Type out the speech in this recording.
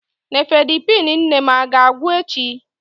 Nifedipine nne m a ga-agwụ echi?